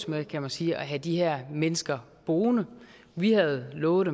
med kan man sige at have de her mennesker boende vi havde lovet